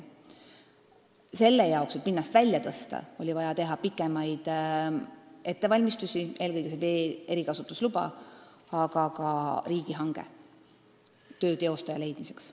Selle jaoks, et pinnast välja tõsta, oli vaja teha pikemaid ettevalmistusi – eelkõige saada vee erikasutusluba, aga korraldada ka riigihange töö teostaja leidmiseks.